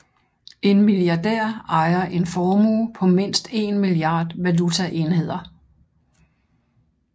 En milliardær ejer en formue på mindst en milliard valutaenheder